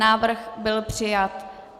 Návrh byl přijat.